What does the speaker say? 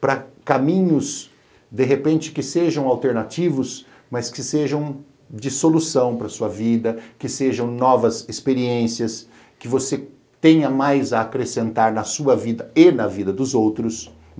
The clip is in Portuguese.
para caminhos, de repente, que sejam alternativos, mas que sejam de solução de para a sua vida, que sejam novas experiências, que você tenha mais a acrescentar na sua vida e na vida dos outros.